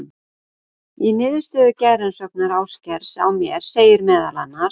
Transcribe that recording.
Í niðurstöðu geðrannsóknar Ásgeirs á mér segir meðal annars